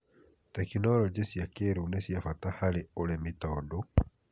Tekinoronjĩ cia kĩrĩu nĩ cia bata harĩ ũrĩmi tondu